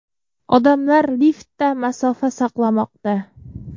Odamlar liftda masofa saqlamoqda.